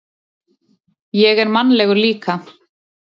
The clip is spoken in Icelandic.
Ég er mannlegur líka.